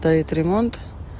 то это ремонт